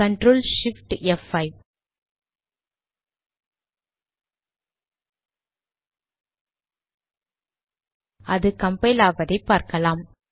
CTRL SHIFT ப்5 அது compile ஆவதை பார்க்கலாம்